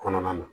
Kɔnɔna na